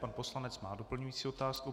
Pan poslanec má doplňující otázku.